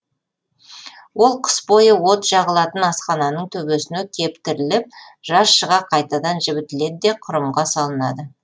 ол қыс бойы от жағылатын асхананың төбесіне кептіріліп жаз шыға қайтадан жібітіледі де кұрымға салынады